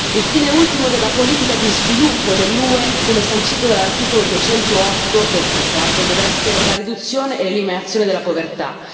Il fine ultimo della politica di sviluppo dell'UE, come sancito dall'articolo 208 del trattato, deve essere la riduzione e l'eliminazione della povertà.